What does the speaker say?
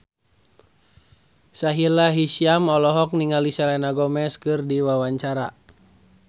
Sahila Hisyam olohok ningali Selena Gomez keur diwawancara